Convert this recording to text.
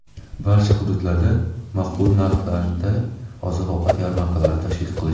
barcha hududlarda maqbul narxlarda oziq-ovqat yarmarkalarini tashkil qilish;.